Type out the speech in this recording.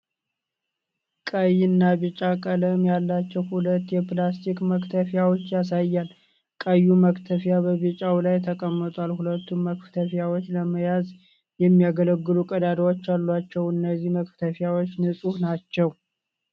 ቀይ እና ቢጫ ቀለም ያላቸው ሁለት የፕላስቲክ መክተፊያዎችን ያሳያል። ቀዩ መክተፊያ በቢጫው ላይ ተቀምጧል። ሁለቱም መክተፊያዎች ለመያዝ የሚያገለግሉ ቀዳዳዎች አሏቸው። እነዚህ መክተፊያዎች ንፁህ ናቸው?